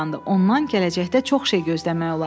Ondan gələcəkdə çox şey gözləmək olar.